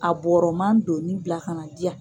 A bɔɔrɔma doni bila ka na di yan.